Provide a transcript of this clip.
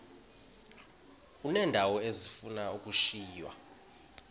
uneendawo ezifuna ukushiywa